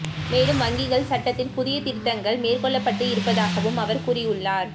மேலும் வங்கிகள் சட்டத்தில் புதிய திருத்தங்கள் மேற்கொள்ளப்பட்டு இருப்பதாகவும் அவர் கூறியுள்ளார்